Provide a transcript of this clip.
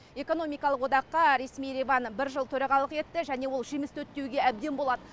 экономикалық одаққа ресми ереван бір жыл төрағалық етті және ол жемісті өтті деуге әбден болады